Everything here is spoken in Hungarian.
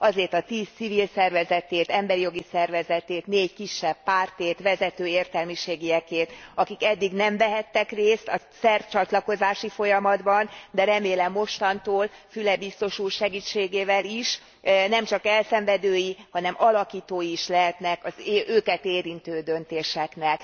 Azét a tíz civil szervezetét, emberi jogi szervezetét, négy kisebb pártét, vezető értelmiségiekét, akik eddig nem vehettek részt a szerb csatlakozási folyamatban, de remélem mostantól Füle biztos úr segítségével is nemcsak elszenvedői, hanem alakítói is lehetnek az őket érintő döntéseknek.